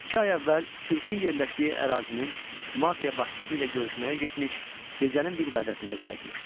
İki ay əvvəl sirkin yerləşdiyi ərazinin mafiya başçısı ilə görüşməyə getmiş, gecənin bir vədəsinə qayıtmışdı.